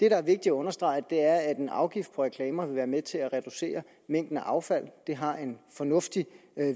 er vigtigt at understrege er at en afgift på reklamer vil være med til at reducere mængden af affald det har en fornuftig